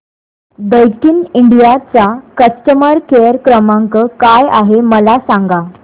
Daikin India चा customer care क्रमांक काय आहे मला सांगा